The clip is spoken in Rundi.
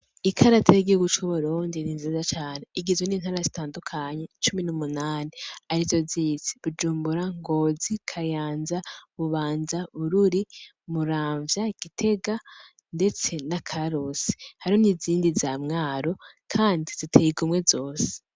Ikarata yigihugu c'uburundi ni nziza cane. igizwe n'intara zitandukanye cumi n'umunani arizo zizi. Bujumbura, Ngozi, Kayanza, Bubanza, Bururi, Muramvya, Gitega ndetse na Karusi. Hariho n'izindi za Mwaro kandi ziteye igomwe zose.